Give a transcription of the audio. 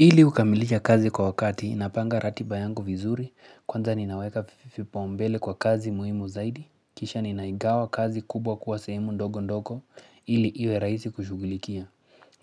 Ili kukamilisha kazi kwa wakati napanga ratiba yangu vizuri, kwanza ninaweka vipaumbele kwa kazi muhimu zaidi, kisha ninaigawa kazi kubwa kuwa sehemu ndogo ndogo ili iwe rahisi kushughulikia.